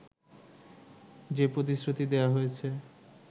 যে প্রতিশ্রুতি দেয়া হয়েছে